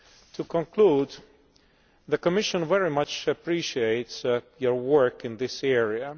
To conclude, the Commission very much appreciates your work in this area.